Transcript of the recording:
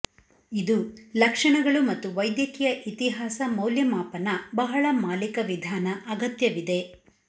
ಇದು ಲಕ್ಷಣಗಳು ಮತ್ತು ವೈದ್ಯಕೀಯ ಇತಿಹಾಸ ಮೌಲ್ಯಮಾಪನ ಬಹಳ ಮಾಲಿಕ ವಿಧಾನ ಅಗತ್ಯವಿದೆ